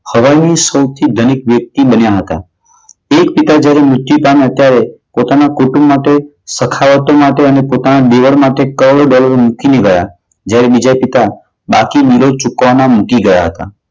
શવા ની સૌથી ધનવાન વ્યક્તિ બન્યા હતા. એક પિતા જયારે મૃત્યુ પામ્યા ત્યારે પોતાના કુટુંબ માટે સખાવતી માટે અને પોતાના નીજીવી બાબતે કળવળ માં નીકળી ગયા. જયારે બીજા પિતા આખી જીંદગી બિલો ચુકવવા માં નીકળી ગયા હતા.